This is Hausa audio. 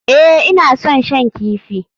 Ee, ina son shan kifi.